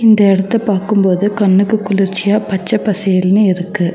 இந்த எடத்த பாக்கும் போது கண்ணுக்கு குளிர்ச்சியா பச்ச பசேல்னு இருக்கு.